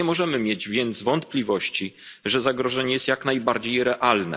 Nie możemy mieć więc wątpliwości, że zagrożenie jest jak najbardziej realne.